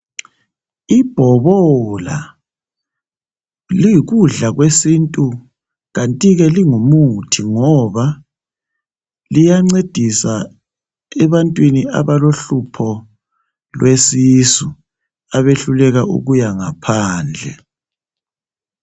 Ibhobola liyikudla kwesintu kantike lingumuthi ngoba loyencedisa ebantwini abalohlupho lwesisu abehluleka ukuya ngaphandle